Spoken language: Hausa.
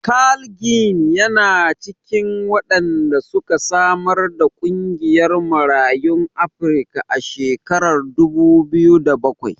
Carl Ginn yana cikin wanda suka samar da ƙungiyar Marayun Afrika a shekarar dubu biyu da bakwai.